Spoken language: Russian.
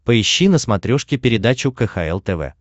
поищи на смотрешке передачу кхл тв